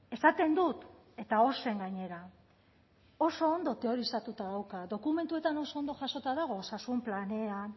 esaten dut eta ozen gainera oso ondo teorizatuta dauka dokumentuetan oso ondo jasota dago osasun planean